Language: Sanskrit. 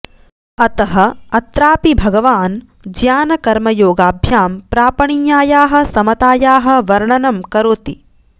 अतः अत्रापि भगवान् ज्ञानकर्मयोगाभ्यां प्रापणीयायाः समतायाः वर्णनं करोति